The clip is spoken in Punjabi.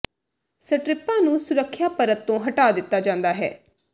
ਸਟਰਿਪਾਂ ਨੂੰ ਸੁਰੱਖਿਆ ਪਰਤ ਤੋਂ ਹਟਾ ਦਿੱਤਾ ਜਾਂਦਾ ਹੈ